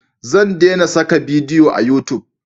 Zan dena saka bidiyo a yutub